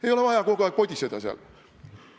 Ei ole vaja kogu aeg podiseda seal.